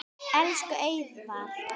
Elsku Eðvarð minn.